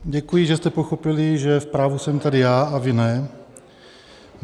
Děkuji, že jste pochopili, že v právu jsem tady já a vy ne.